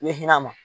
I bɛ hinɛ a ma